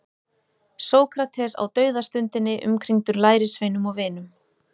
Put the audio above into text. Sókrates á dauðastundinni umkringdur lærisveinum og vinum.